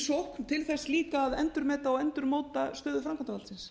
sókn til þess líka að endurmeta og endurmóta stöðu framkvæmdarvaldsins